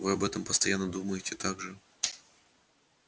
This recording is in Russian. вы об этом постоянно думаете так же